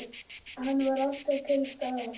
Hann var alltaf til staðar.